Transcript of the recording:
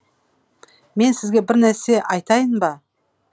мен сізге бір нәрсе айтайын ба